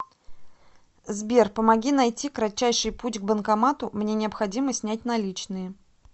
сбер помоги найти кратчайший путь к банкомату мне необходимо снять наличные